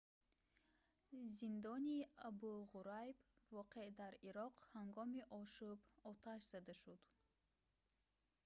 зиндони абу ғурайб воқеъ дар ироқ ҳангоми ошӯб оташ зада шуд